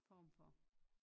Form for